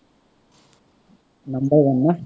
number one ন্হ